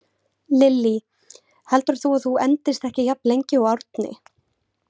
Lillý: Heldur þú að þú endist ekki jafn lengi og Árni?